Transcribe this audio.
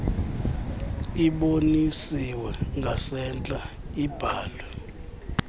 ibonisiwe ngasentla ibhalwe